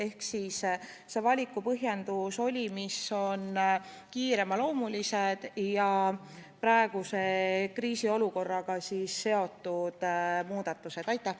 Ehk valiku põhjendus oli, mis on kiireloomulisemad ja praeguse kriisiolukorraga seotud.